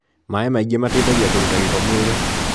Maĩ maingĩ mateithagia kũruta gĩko mwĩrĩ